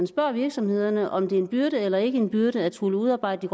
spørger virksomhederne om hvorvidt det er en byrde eller ikke en byrde at skulle udarbejde